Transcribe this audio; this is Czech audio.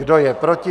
Kdo je proti?